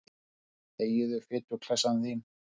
Þegiðu, fituklessan þín.